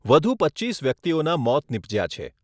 વધુ પચ્ચીસ વ્યક્તિઓના મોત નિપજ્યા છે.